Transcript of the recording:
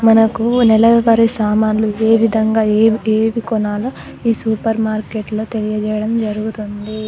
మనకు నెల వారి సామాన్లు ఏ విధంగా ఏం కొనాలో ఈ సూపర్ మార్కెట్లో తెలియజేయడం జరుగుతుంది